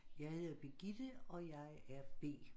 Jeg hedder Birgitte og jeg er B